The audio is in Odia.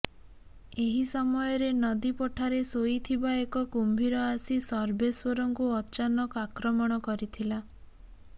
ଏହି ସମୟରେ ନଦୀ ପଠାରେ ଶୋଇଥିବା ଏକ କୁମ୍ଭୀର ଆସି ସର୍ବେଶ୍ୱରଙ୍କୁ ଅଚାନକ ଆକ୍ରମଣ କରିଥିଲା